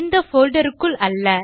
இந்த போல்டர் க்குள் அல்ல